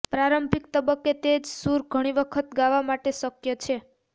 પ્રારંભિક તબક્કે તે જ સૂર ઘણી વખત ગાવા માટે શક્ય છે